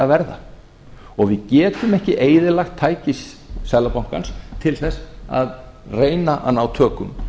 og við getum ekki eyðilagt tæki seðlabankans til þess að reyna að ná tökum á